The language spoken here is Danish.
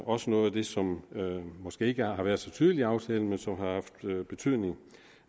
også noget af det som måske ikke har været så tydeligt i aftalen men som har haft betydning